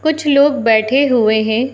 कुछ लोग बैठे हुए हैं।